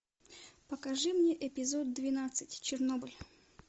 покажи мне эпизод двенадцать чернобыль